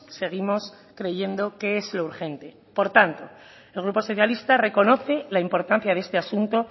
seguimos creyendo que es lo urgente por tanto el grupo socialista reconoce la importancia de este asunto